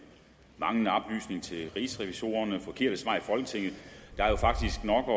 manglende oplysning til rigsrevisorerne forkerte svar i folketinget der er jo faktisk nok at